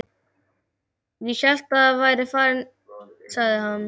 Ég hélt þú værir farinn sagði hann.